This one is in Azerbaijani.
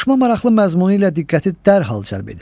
Qoşma maraqlı məzmunu ilə diqqəti dərhal cəlb edir.